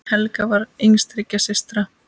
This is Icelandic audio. Helga var yngst þriggja systra.